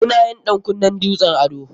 Mu na yin ɗan kunnen dutsen ado.